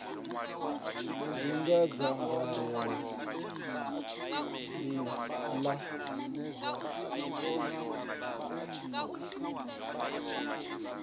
ḓi na dzangalelo ḽihulwane ḽa